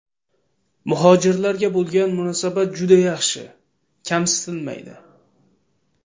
Muhojirlarga bo‘lgan munosabat juda yaxshi, kamsitilmaydi.